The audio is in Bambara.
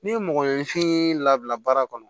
Ni mɔgɔninfin labila baara kɔnɔ